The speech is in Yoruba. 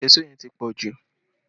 Èṣó yẹn ti pọ jù